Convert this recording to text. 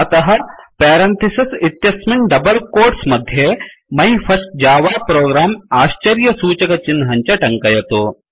अतः पेरेन्थेसेस् इत्यस्मिन् double quotes मध्ये माई फर्स्ट जव प्रोग्रं आश्चर्यसूचकचिह्नं च टङ्कयतु